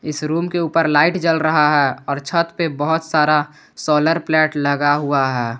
इस रूम के ऊपर लाइट जल रहा है और छत पर बहोत सारा सोलर प्लेट लगा हुआ है।